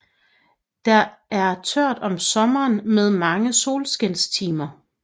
Der er tørt om sommeren med mange solskinstimer